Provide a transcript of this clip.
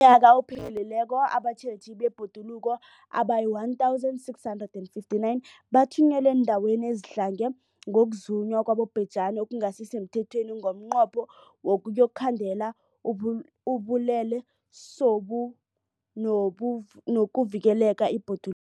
UmNnyaka ophelileko abatjheji bebhoduluko abayi-1 659 bathunyelwa eendaweni ezidlange ngokuzunywa kwabobhejani okungasi semthethweni ngomnqopho wokuyokukhandela ubulelesobu nokuvikela ibhoduluko.